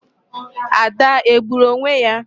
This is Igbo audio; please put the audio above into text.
Ada egburu onwe ya?